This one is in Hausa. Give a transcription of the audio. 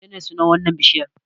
Menene sunan wannan bishiyar?